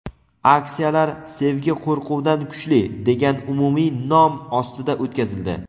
Aksiyalar "Sevgi qo‘rquvdan kuchli" degan umumiy nom ostida o‘tkazildi.